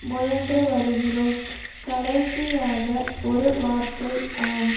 முயன்றுவருகிறோம் கடைசியாக ஒரு வார்த்தை ஆம்